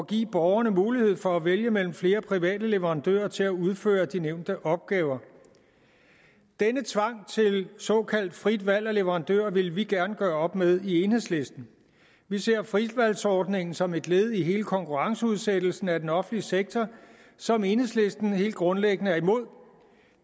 give borgerne mulighed for at vælge mellem flere private leverandører til at udføre de nævnte opgaver denne tvang til såkaldt frit valg af leverandør vil vi gerne gøre op med i enhedslisten vi ser fritvalgsordningen som et led i hele konkurrenceudsættelsen af den offentlige sektor som enhedslisten helt grundlæggende er imod